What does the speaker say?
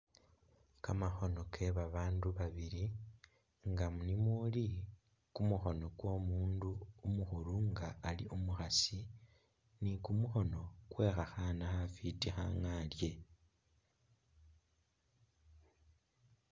Kamakhono ke babandu babili nga ni mumuli kumukhono kwo'mundu umukhulu nga Ali umukhaasi ,ni kumukhono kwe khakhaana khafiti khangalye